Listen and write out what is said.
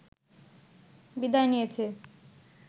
বিদায় নিয়েছে